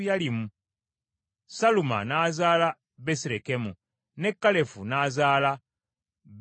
Saluma n’azaala Besirekemu, ne Kalefu n’azaala Besugaderi.